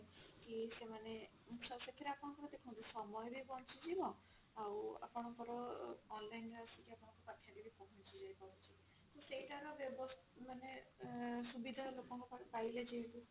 କି ସେମାନେ ସେଥିରେ ଆପଣଙ୍କୁ ଦେଖନ୍ତୁ ସମୟ ବି ବଞ୍ଚିଯିବ ଆଉ ଆପଣଙ୍କର ଅ online ରେ ଆସିକି ଆପଣଙ୍କ ପାଖରେ ପହଞ୍ଚି ବି ଯାଇ ପାରୁଛି ତ ସେଇଟା ର ବ ମାନେ ଅ ସୁବିଧା ଲୋକ ପାଇଲେ ଯେହେତୁ